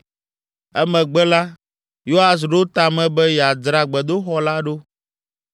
Emegbe la, Yoas ɖo ta me be yeadzra gbedoxɔ la ɖo.